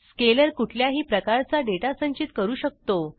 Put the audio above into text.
scalar कुठल्याही प्रकारचा data संचित करू शकतो